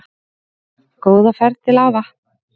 Góða ferð til afa.